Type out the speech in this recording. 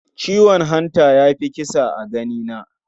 Ciwon hanta ya fi kisa a ganina.